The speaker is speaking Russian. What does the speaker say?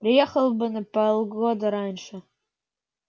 приехал бы на полгода раньше